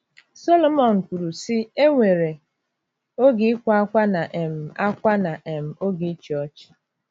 Sọlọmọn kwuru sị, "E nwere... oge ịkwa ákwá na um ákwá na um oge ịchị ọchị."